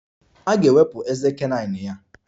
A ga-ewepụ ezé canine ya.